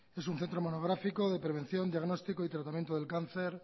es un centro monográfico de prevención diagnóstico y tratamiento del cáncer